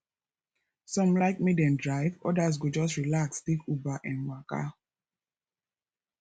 some like make dem drive others go just relax take uber um waka